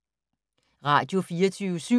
Radio24syv